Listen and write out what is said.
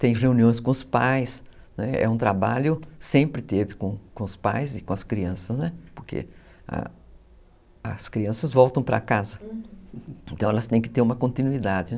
Tem reuniões com os pais, é um trabalho que sempre teve com com os pais e com as crianças, né, porque as crianças voltam para casa, então elas têm que ter uma continuidade. Uhum.